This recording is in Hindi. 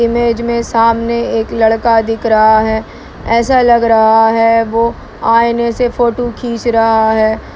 इमेज में सामने एक लड़का दिख रहा है ऐसा लग रहा है वो आईने से फोटो खींच रहा है।